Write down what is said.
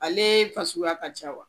Ale fasuguya ka ca wa?